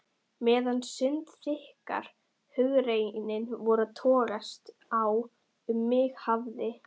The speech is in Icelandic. Meðan sundurþykkar hugrenningar voru að togast á um mig hafði